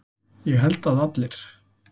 Ég held að allir.